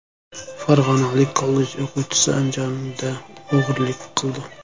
Farg‘onalik kollej o‘quvchisi Andijonda o‘g‘irlik qildi.